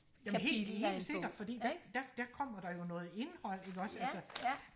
jamen helt helt sikker fordi der der der kommer der jo noget indhold ikke også altså